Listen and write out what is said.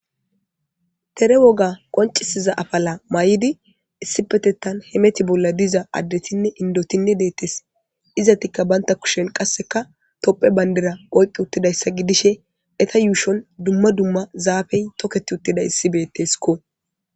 Tere woga qoncisiza afala may'idi issi petettan hemeti bolla diza addetinne indotinne deettes izatikka banta kushen qasseka topphe bayndera oyqi uttidayssa gidishe eta yuushon dumma dumma zaafey tokket uttida issi beetteskko